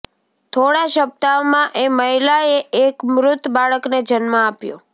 થોડા સપ્તાહમાં એ મહિલાએ એક મૃત બાળકને જન્મ આપ્યો